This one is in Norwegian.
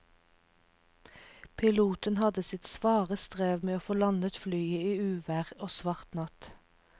Piloten hadde sitt svare strev med å få landet flyet i uvær og svart natt.